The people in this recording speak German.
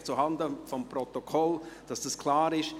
Einfach zuhanden des Protokolls, damit dies klar ist.